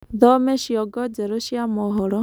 thome cĩongo njerũ cĩa mohoro